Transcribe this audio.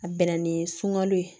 A bɛnna ni sunganlo ye